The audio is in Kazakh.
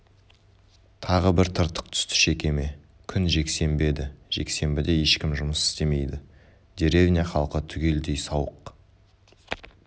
тағы бір тыртық түсті шекеме күн жексенбі еді жексенбіде ешкім жұмыс істемейді деревня халқы түгелдей сауық